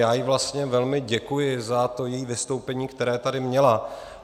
Já jí vlastně velmi děkuji za to její vystoupení, které tady měla.